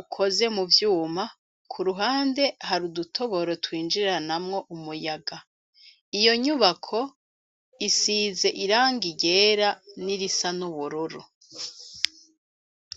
ukoze mu vyuma , ku ruhande hari udutoboro twinjiranamwo umuyaga. Iyo nyubako isize irangi ryera nirisa n'ubururu.